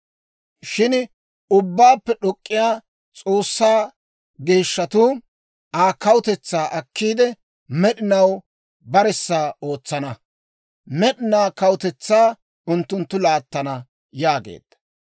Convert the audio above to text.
Shin Ubbaappe d'ok'k'iyaa S'oossaa geeshshatuu Aa kawutetsaa akkiide, med'inaw baressa ootsana; med'inaa kawutetsaa unttunttu laattana› yaageedda.